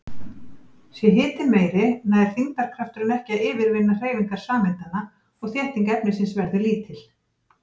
Sé hitinn meiri nær þyngdarkrafturinn ekki að yfirvinna hreyfingar sameindanna og þétting efnisins verður lítil.